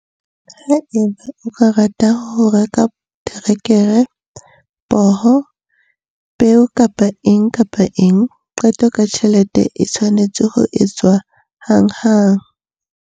Haeba o ka rata ho reka terekere, poho, peo kapa eng kapa eng, qeto ka tjhelete e tshwanetse ho etswa hanghang.